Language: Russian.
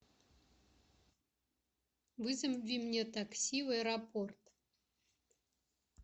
вызови мне такси в аэропорт